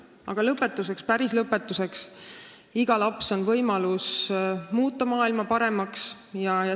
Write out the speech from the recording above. Aga päris lõpetuseks: iga laps on võimalus muuta maailma paremaks.